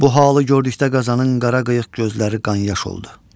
Bu halı gördükdə qazanın qara qıyıq gözləri qanyas oldu.